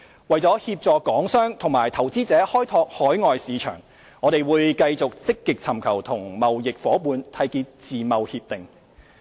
為協助港商及投資者開拓海外市場，我們會繼續積極尋求與貿易夥伴締結自由貿易協定。